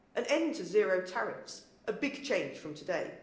An end to zero tariffs, a big change from today.